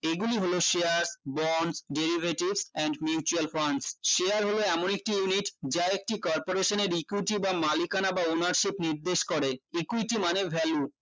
এগুলি হলো share born derivatives and mutual funds share হল এমন একটি unit যার একটি corporation এ equity বা মালিকানা বা ownership নির্দেশ করে equity মানে value